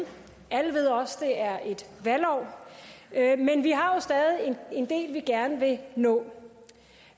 alle ved også at det er et valgår men vi har jo stadig en del vi gerne vil nå